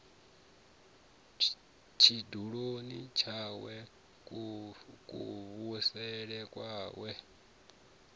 tshiduloni tshawe kuvhusele kwawe a